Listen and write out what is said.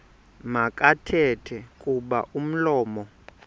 makathethe kuba umlomo